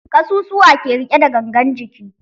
Ƙasusuwa ke riƙe da gangan jiki.